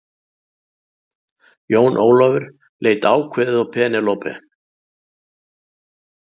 Jón Ólafur leit ákveðið á Penélope.